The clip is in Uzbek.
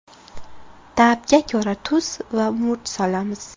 Ta’bga ko‘ra tuz va murch solamiz.